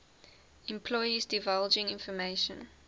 employees divulging information